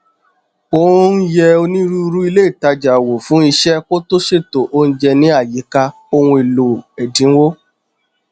ó n yẹ onírúurú ilé ìtajà wò fún iṣẹ kó tó ṣètò oúnjẹ ní àyíká ohun èlò ẹdínwó